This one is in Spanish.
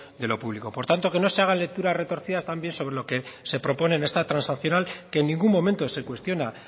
de lo público por tanto que no se hagan lecturas retorcidas también sobre lo que se propone en esta transaccional que en ningún momento se cuestiona